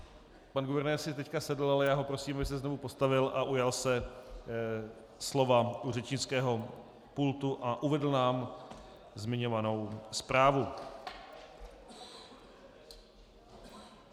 Pan guvernér si teď sedl, ale já ho prosím, aby se znovu postavil a ujal se slova u řečnického pultu a uvedl nám zmiňovanou zprávu.